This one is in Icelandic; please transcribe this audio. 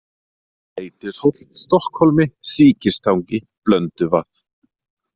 Leitishóll, Stokkhólmi, Síkistangi, Blönduvað